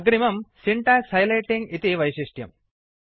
अग्रिमम् syntax highlighting इति वैशिष्ट्यम्